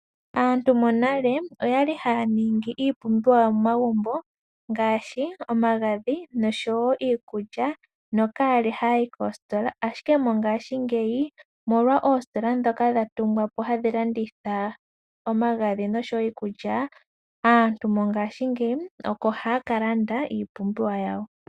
Aantu monale oyali haya ningi iipumbiwa yawo momagumbo ngaashi omagadhi noshowoo iikulya nokayali hayayi koositola, ashike mongashingeyi omolwa oositola ndhoka dhatungwapo hadhi landitha omagadhi noshowoo iikulya. Aantu mongashingeyi oko haya kalanda iipumbiwa yawo.